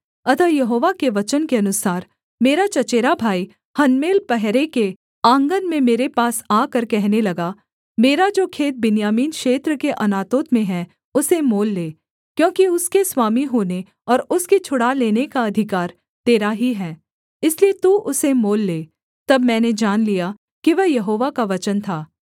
अतः यहोवा के वचन के अनुसार मेरा चचेरा भाई हनमेल पहरे के आँगन में मेरे पास आकर कहने लगा मेरा जो खेत बिन्यामीन क्षेत्र के अनातोत में है उसे मोल ले क्योंकि उसके स्वामी होने और उसके छुड़ा लेने का अधिकार तेरा ही है इसलिए तू उसे मोल ले तब मैंने जान लिया कि वह यहोवा का वचन था